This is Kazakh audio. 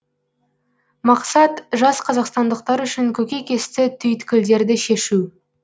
мақсат жас қазақстандықтар үшін көкейкесті түйткілдерді шешу